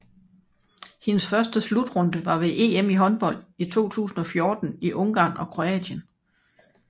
Hendes første slutrunde var ved EM i håndbold 2014 i Ungarn og Kroatien